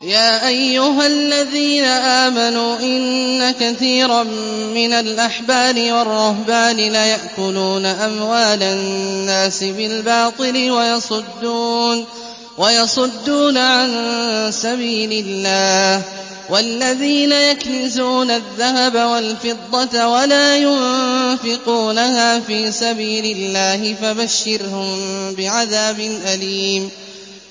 ۞ يَا أَيُّهَا الَّذِينَ آمَنُوا إِنَّ كَثِيرًا مِّنَ الْأَحْبَارِ وَالرُّهْبَانِ لَيَأْكُلُونَ أَمْوَالَ النَّاسِ بِالْبَاطِلِ وَيَصُدُّونَ عَن سَبِيلِ اللَّهِ ۗ وَالَّذِينَ يَكْنِزُونَ الذَّهَبَ وَالْفِضَّةَ وَلَا يُنفِقُونَهَا فِي سَبِيلِ اللَّهِ فَبَشِّرْهُم بِعَذَابٍ أَلِيمٍ